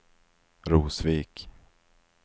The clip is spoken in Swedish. Rosvik